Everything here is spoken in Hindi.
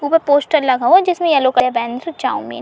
पोस्टर लगा हुआ है जिसमे येलो कलर बैनर से चौमिन --